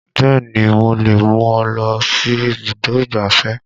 Bẹ́ẹ̀ni mo lè mú ọ lọ sí ibùdó ìgbáfẹ́